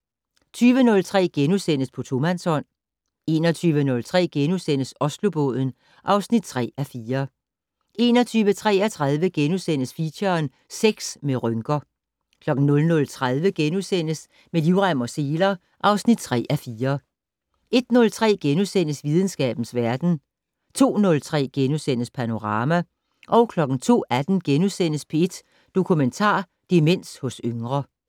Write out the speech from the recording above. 20:03: På tomandshånd * 21:03: Oslobåden (3:4)* 21:33: Feature: Sex med rynker * 00:30: Med livrem og seler (3:4)* 01:03: Videnskabens verden * 02:03: Panorama * 02:18: P1 Dokumentar: Demens hos yngre *